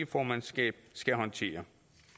formandskab skal håndtere